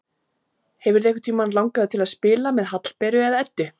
Hefur þig einhvern tímann langað til að spila með Hallberu eða Eddu?